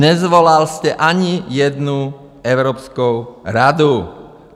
Nesvolal jste ani jednu Evropskou radu.